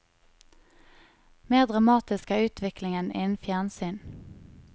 Mer dramatisk er utviklingen innen fjernsyn.